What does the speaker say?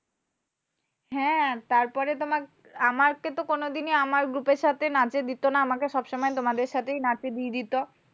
হ্যাঁ তারপরে তোমার আমাকে তো কোনোদিনই আমার group এর সাথে নাচে দিতো না। আমাকে সবসময় তোমাদের সাথেই নাচে দিয়ে দিতো।